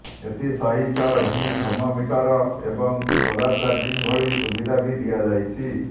ଏଥିସହିତ ହିଁ ଥର୍ମୋମିଟର ଏବଂ ସୋଲାର ଚାର୍ଜିଂ ଭଳି ସୁବିଧା ବି ଦିଆଯାଇଛି